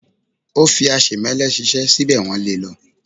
ó fí aṣemẹ́lẹ̀ ṣiṣẹ́ síbẹ̀ wọ́n lé e lọ.